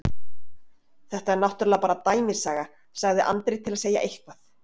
Þetta er náttúrlega bara dæmisaga, sagði Andri til að segja eitthvað.